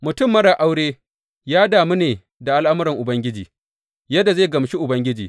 Mutum marar aure ya damu ne da al’amuran Ubangiji, yadda zai gamshi Ubangiji.